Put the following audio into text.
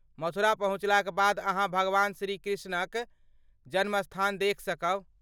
मथुरा पहुँचलाक बाद अहाँ भगवान श्रीकृष्णक जन्मस्थान देखि सकब।